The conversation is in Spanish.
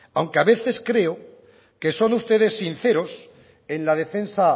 aunque a veces creo que son ustedes sinceros en la defensa